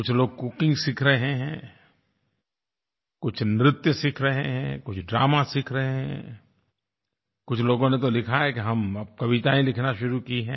कुछ लोग कुकिंग सीख रहे हैं कुछ नृत्य सीख रहे हैं कुछ ड्रामा सीख रहे हैं कुछ लोगों ने तो लिखा है कि हमने अब कविताएँ लिखना शुरू की हैं